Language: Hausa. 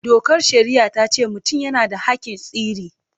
Dokar shari'a ta ce mutum yana da haƙƙin sirri.